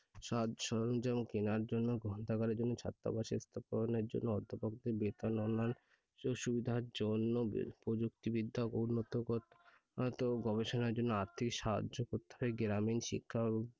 সাজ সরঞ্জাম কেনার জন্য গ্রন্থাগারের জন্য ছাত্রাবাস স্থাপনের জন্য অধ্যাপক দের বেতন ও অন্যান্য সুবিধার জন্য প্রযুক্তিবিদ্যা উন্নত করতে গবেষণার জন্য আর্থিক সাহায্য করতে হবে গ্রামীণ শিক্ষা ও